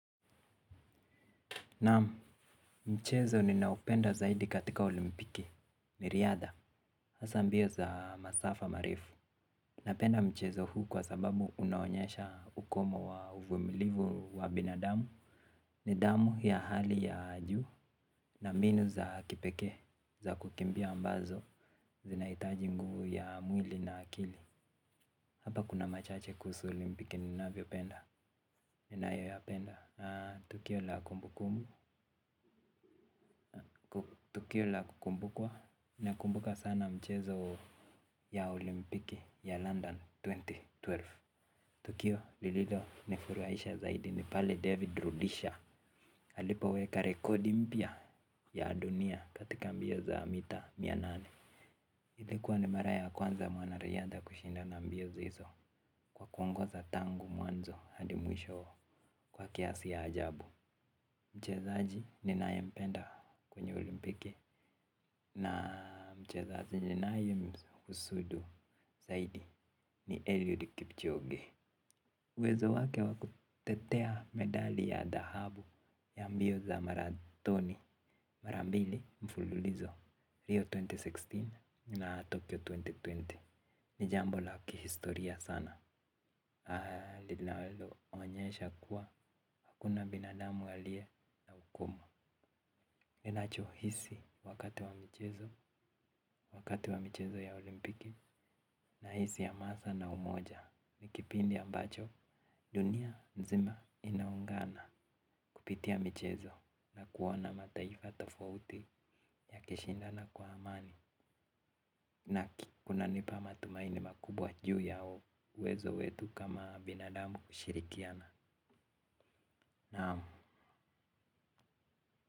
Naamu, mchezo ninaupenda zaidi katika olimpiki, ni riadha, hasa mbio za masafa marefu. Napenda mchezo huu kwa sababu unaonyesha ukomo wa uvumilivu wa binadamu. Ni damu ya hali ya juu, na mbinu za kipeke, za kukimbia ambazo, zinaitaji nguvu ya mwili na akili. Hapa kuna machache kusu olimpiki ninaupenda, ninayo yapenda. Tukio la kumbukua nakumbuka sana mchezo ya olimpiki ya London elfu mbili na kumi na mbili. Tukio lililo nifuruaisha zaidi ni pale David Rudisha Halipa weka rekodi mpia ya dunia katika mbio za mita mia nane. Hilikuwa ni mara ya kwanza mwanariyadha kushindana mbio zizo kwa kuongoza tangu mwanzo hadi mwisho kwa kiasi ya ajabu. Mchezaji ninayempenda kwenye olimpiki na mchezaji ninayemhusudu zaidi ni Eliud Kipchoge. Uwezo wake wa kutetea medali ya dahabu ya mbio za maratoni mara mbili mfululizo Rio elfu mbili na kumi na sita na Tokyo elfu mbili na ishirini. Ni jambo la kihistoria sana. Linaloonyesha kuwa hakuna binadamu aliye na ungumu. Ninachohisi wakati wa michezo ya olimpiki nahisi hamasa na umoja. Ni kipindi ambacho dunia nzima inaungana kupitia michezo na kuona mataifa tofauti ya kushindana kwa amani. Na kunanipa matumaini makubwa juu yao uwezo wetu kama binadamu kushirikiana. Naamu.